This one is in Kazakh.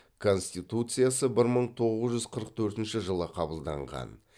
конституциясы бір мың тоғыз жүз қырық төртінші жылы қабылданған